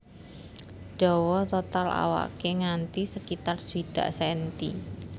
Dawa total awaké nganti sekitar swidak senti